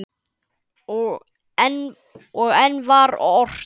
Og enn var ort.